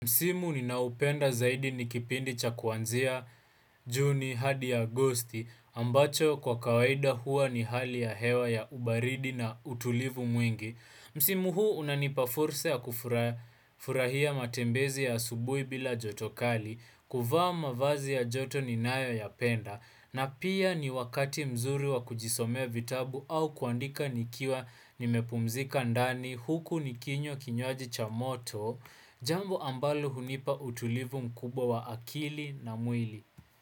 Msimu ninaopenda zaidi ni kipindi cha kuanzia Juni hadi ya Agosti ambacho kwa kawaida hua ni hali ya hewa ya ubaridi na utulivu mwingi. Msimu huu unanipa fursa ya kufurahia matembezi ya asubuhi bila joto kali kuvaa mavazi ya joto ninayoyapenda na pia ni wakati mzuri wa kujisome vitabu au kuandika nikiwa nimepumzika ndani huku nikinywa kinywaji cha moto Jambo ambalo hunipa utulivu mkubwa wa akili na mwili.